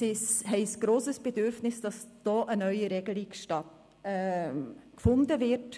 haben ein grosses Bedürfnis, dass hier eine neue Regelung gefunden wird.